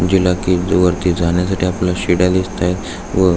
जी ला की वरती जाण्यासाठी आपल्याला शिड्या दिसताएत व--